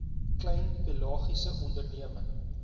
klein pelagiese onderneming